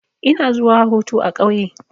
Ina zuwa hutu a ƙauye.